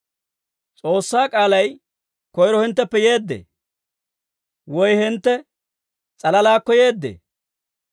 S'oossaa k'aalay koyro hintteppe yeeddee? Woy hintte s'alalaakko yeeddee?